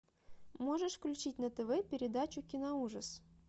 можешь включить на тв передачу киноужас